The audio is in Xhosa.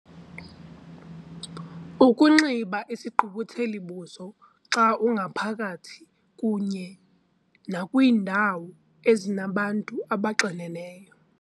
Ukunxiba isigqubutheli-buso xa ungaphakathi kunye nakwiindawo ezinabantu abaxineneyo.